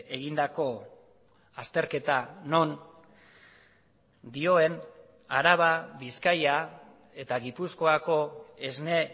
egindako azterketa non dioen araba bizkaia eta gipuzkoako esne